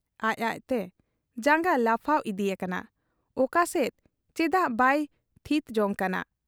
ᱟᱡ ᱟᱡᱛᱮ ᱡᱟᱝᱜᱟ ᱞᱟᱯᱷᱟᱣ ᱤᱫᱤ ᱟᱠᱟᱱᱟ ᱾ ᱚᱠᱟ ᱥᱮᱫ, ᱪᱮᱫᱟᱜ ᱵᱟᱭ ᱛᱷᱤᱛ ᱡᱚᱝ ᱠᱟᱱᱟ ᱾